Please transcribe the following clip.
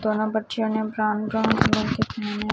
दोनों बच्चियों brown brown colour के पहने--